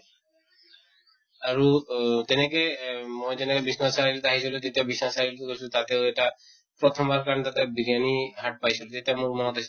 আৰু অ তেনেকে য়ে মই যেনেকে বিশ্বনাথ চাৰিআলি ত আহিছিলো তেতিয়া বিছা চাৰিআলি তো গৈছিলো, তাতেও এটা প্ৰথম বাৰ কাৰণে তাতে বিৰিয়ানি hut পাইছিলো, তেতিয়া মোৰ মনত আছে